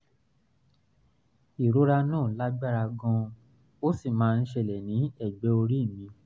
ìrora náà lágbára gan-an ó sì máa ń ṣẹlẹ̀ ní ẹ̀gbẹ́ orí mi